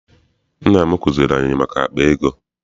Nne m kuziere anyị maka akpa ego.